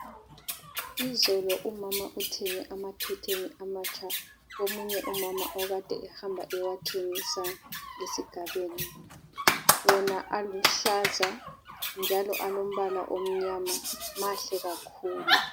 Izolo umama uthenge amakhetheni amatsha komunye umama okade ehamba ewathengisa esigabeni, wona aluhlaza njalo alombala omnyama, mahle kakhulu.